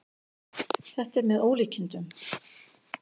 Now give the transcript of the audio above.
Þetta er með ólíkindum